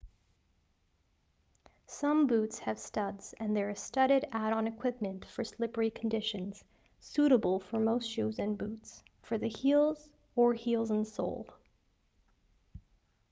some boots have studs and there is studded add-on equipment for slippery conditions suitable for most shoes and boots for the heels or heels and sole